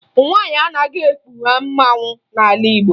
Nwaanyị anaghị ekpu mmanwụ n'ala Igbo